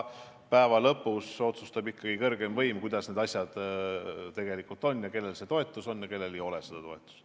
Ent lõpuks otsustab ikkagi kõrgeim võim, kuidas need asjad tegelikult on, kellel on toetus ja kellel ei ole.